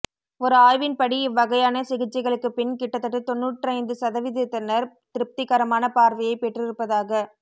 ஒரு ஆய்வின் படி இவ்வகையான சிகிச்சைகளுக்குப் பின் கிட்டத்தட்ட தொண்ணூற்றைந்து சதவீதத்தினர் திருப்திகரமான பார்வையைப் பெற்றிருப்பதாகக்